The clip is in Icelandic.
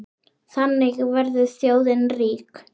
Þannig verður þjóðin rík.